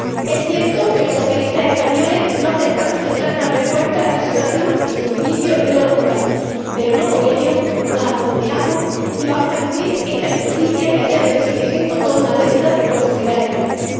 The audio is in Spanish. Es cierto que los socialistas españoles no acertamos en dar una respuesta a esta situación en sus inicios y no lo ocultamos, pero no por ello nos acomplejamos y vamos a eludir esta injusticia que, a día de hoy, sigue siendo toda una deuda con la sociedad española.